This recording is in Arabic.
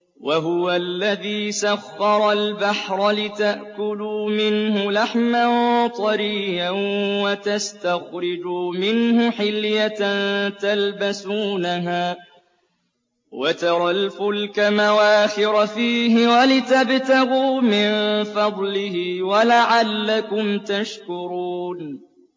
وَهُوَ الَّذِي سَخَّرَ الْبَحْرَ لِتَأْكُلُوا مِنْهُ لَحْمًا طَرِيًّا وَتَسْتَخْرِجُوا مِنْهُ حِلْيَةً تَلْبَسُونَهَا وَتَرَى الْفُلْكَ مَوَاخِرَ فِيهِ وَلِتَبْتَغُوا مِن فَضْلِهِ وَلَعَلَّكُمْ تَشْكُرُونَ